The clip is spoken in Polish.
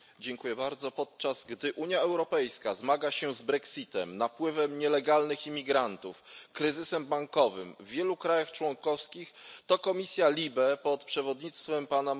Panie Przewodniczący! Podczas gdy Unia Europejska zmaga się z brexitem, napływem nielegalnych imigrantów, kryzysem bankowym w wielu krajach członkowskich, komisja LIBE pod przewodnictwem p.